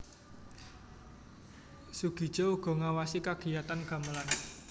Soegija uga ngawasi kagiyatan gamelan